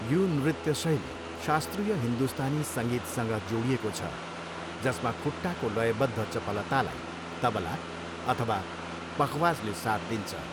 यो नृत्य शैली शास्त्रीय हिन्दुस्तानी सङ्गीतसँग जोडिएको छ जसमा खुट्टाको लयबद्ध चपलतालाई तबला अथवा पखवाजले साथ दिन्छ।